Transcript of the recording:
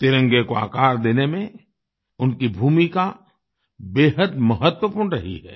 तिरंगे को आकार देने में उनकी भूमिका बेहद महत्वपूर्ण रही है